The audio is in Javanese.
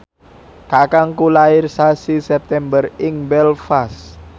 kakangku lair sasi September ing Belfast